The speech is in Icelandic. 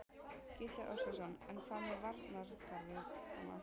Gísli Óskarsson: En hvað með varnargarðana?